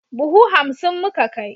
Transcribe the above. Buhu hansim muka kai.